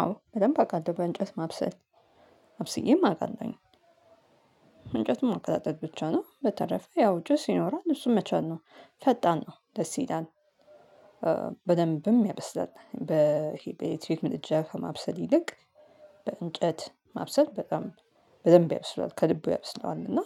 አዎ በደንብ አቃለው በእንጨት ማብሰል አብስዬም አቃለሁኝ። እንጨቱን ማቀጣጠል ብቻ ነው በተረፈ ያው ጪስ ይኖራል እሱን መቻል ነው። ፈጣን ነው ደስ ይላል። በደንብም ያበስላል በሄ በኤሌትሪክ ምድጃ ከማብሰል ይልቅ። በእንጨት ማብሰል በጣም በደንብ ያብስለዋል ከልቡ ያብስለዋል እና